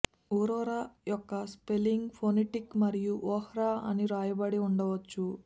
ఊరరా యొక్క spelling phonetic మరియు ఓర్హా అని వ్రాయబడి ఉండవచ్చు